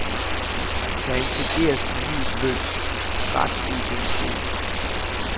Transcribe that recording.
Der intrigeres på livet løs, ret uigennemskueligt.